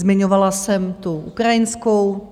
Zmiňovala jsem tu ukrajinskou.